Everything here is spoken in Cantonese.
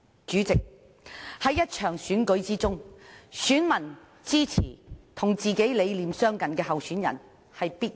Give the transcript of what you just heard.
在一場選舉中，選民支持與自己理念相近的候選人，理所當然。